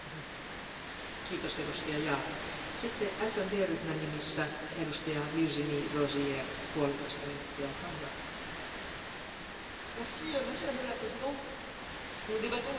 Madame la Présidente, nous débattons ce soir de cette question orale parce que la commission des pétitions de ce Parlement a été saisie par plusieurs centaines de citoyens européens qu'on appelle Américains accidentels.